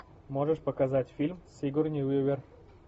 можешь показать фильм с сигурни уивер